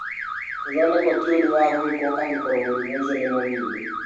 Kũthondekwo ti ũndũ wa gwĩkwo angĩkorũo mũrimũ ũcio nĩ mũnini.